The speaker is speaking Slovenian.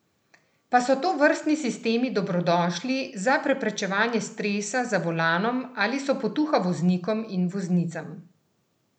Pa so tovrstni sistemi dobrodošli za preprečevanje stresa za volanom ali so potuha voznikom in voznicam?